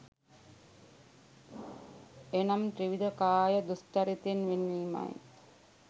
එනම් ත්‍රිවිධ කාය දුෂ්චරිතයෙන් වෙන්වීමයි.